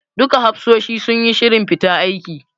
Duka hafsoshi suyi shirin fita aiki.